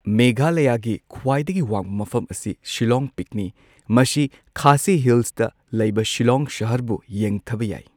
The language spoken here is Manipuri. ꯃꯦꯘꯥꯂꯌꯥꯒꯤ ꯈ꯭ꯋꯥꯏꯗꯒꯤ ꯋꯥꯡꯕ ꯃꯐꯝ ꯑꯁꯤ ꯁꯤꯂꯣꯡ ꯄꯤꯛꯅꯤ꯫ ꯃꯁꯤ ꯈꯥꯁꯤ ꯍꯤꯜꯁꯇ ꯂꯩꯕ ꯁꯤꯂꯣꯡ ꯁꯍꯔꯕꯨ ꯌꯦꯡꯊꯕ ꯌꯥꯢ꯫